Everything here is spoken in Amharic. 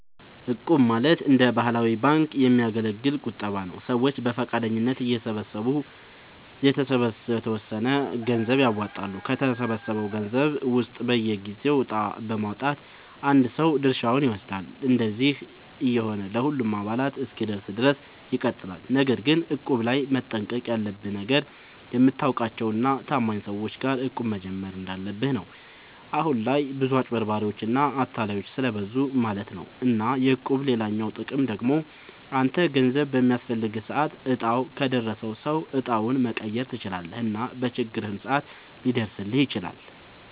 እቁብ ማለት እንደ ባህላዊ ባንክ የሚያገለግል ቁጠባ ነዉ። ሰዎች በፈቃደኝነት እየተሰባሰቡ የተወሰነ ገንዘብ ያዋጣሉ፣ ከተሰበሰበው ገንዘብ ውስጥ በየጊዜው እጣ በማዉጣት አንድ ሰው ድርሻውን ይወስዳል። እንደዚህ እየሆነ ለሁሉም አባላት እስኪደርስ ድረስ ይቀጥላል። ነገር ግን እቁብ ላይ መጠንቀቅ ያለብህ ነገር፣ የምታውቃቸው እና ታማኝ ሰዎች ጋር እቁብ መጀመር እንዳለብህ ነው። አሁን ላይ ብዙ አጭበርባሪዎች እና አታላዮች ስለብዙ ማለት ነው። እና የእቁብ ሌላኛው ጥቅም ደግሞ አንተ ገንዘብ በሚያስፈልግህ ሰዓት እጣው ከደረሰው ሰው እጣውን መቀየር ትችላለህ እና በችግርህም ሰዓት ሊደርስልህ ይችላል።